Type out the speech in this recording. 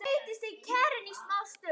sagði Jakob.